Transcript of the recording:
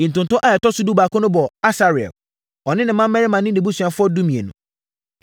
Ntonto a ɛtɔ so dubaako no bɔɔ Asarel, ɔne ne mmammarima ne nʼabusuafoɔ (12)